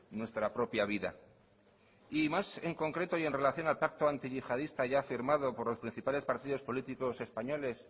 nuestra propia vida y más en concreto y en relación al pacto antiyihadista ya firmado por los principales partidos políticos españoles